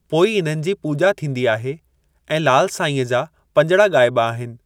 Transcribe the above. पोइ इन्हनि जी पूॼा थींदी आहे ऐं लाल साईंअ जा पंजड़ा ॻाइबा आहिनि।